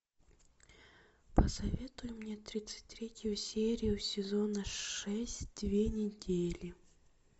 посоветуй мне тридцать третью серию сезона шесть две недели